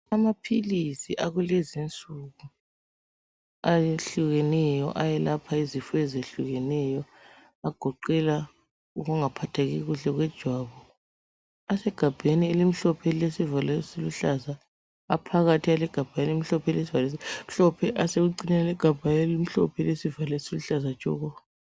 Amaphilisi akulezinsuku ayehlukeneyo ayelapha izifo ezehlukeneyo agoqela ukungaphatheki kuhle kwejwabu. Asegabheni elimhlophe elilesivalo esiluhlaza, aphakathi alegabha elimhlophe elilesivalo esimhlophe, asekucineni egabheni elimhlophe elisesivalo esiluhlaza tshoko.